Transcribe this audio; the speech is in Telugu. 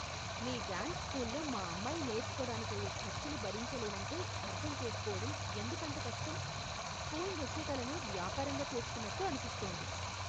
మీ డ్యాన్స్ స్కూల్లో మా అమ్మాయి నేర్చుకోడానికయ్యే ఖర్చులు భరించలేనంటే అర్థం చేసుకోవడం ఎందుకంత కష్టం? స్కూల్ నృత్య కళను వ్యాపారంగా చేస్కున్నట్టు అనిపిస్తోంది.